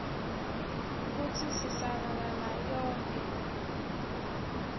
kutsi sisabalala yonkhe